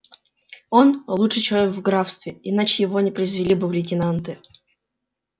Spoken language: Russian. он лучший человек в графстве иначе его не произвели бы в лейтенанты